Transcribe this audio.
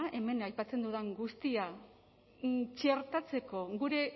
hemen aipatzen dudan guztia txertatzeko gure